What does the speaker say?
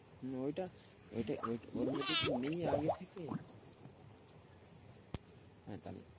ওটা ওটা ওর মধ্যে কি নেই আগে থেকে?